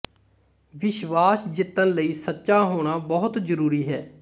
ਵਿਸ਼ਵਾਸ ਜਿਤਣ ਲਈ ਸੱਚਾ ਹੋਣਾ ਬਹੁਤ ਜਰੂਰੀ ਹੈ